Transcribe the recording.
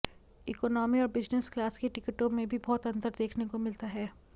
economy और business class की टिकटों में भी बहुत अंतर देखने को मिलता है